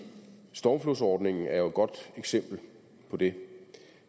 stormflodssordningen er jo et godt eksempel på det